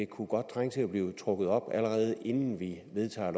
blive trukket op allerede inden vi vedtager